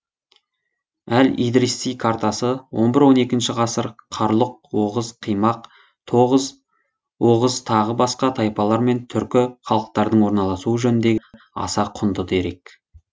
әл идриси картасы он бір он екінші ғасыр қарлұқ оғыз қимақ тоғыз оғыз тағы басқа тайпалар мен түрлі халықтардың орналасуы жөніндегі аса құнды дерек